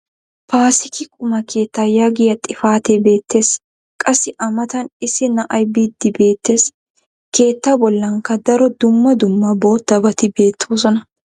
paasikki qumma keettaa yaagiya xifate beetees. qassi a matan issi na'ay biidi beetees. keetta bollankka daro dumma dumma boottabatti beetoosona.